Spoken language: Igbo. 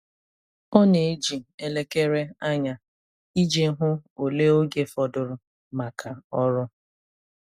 Ọ na-eji elekere anya iji hụ ole oge fọdụrụ maka ọrụ.